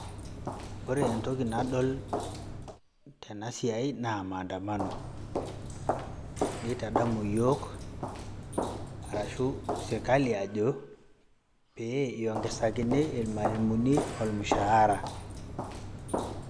Ore entoki nadol tena siai naa maandamano. Neitadamu iyiok arashu serkali ajo, pee eiongesakini ilmwalimuni olmushahara